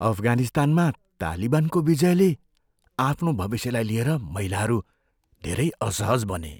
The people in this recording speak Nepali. अफगानिस्तानमा तालिबानको विजयले आफ्नो भविष्यलाई लिएर महिलाहरू धेरै असहज बने।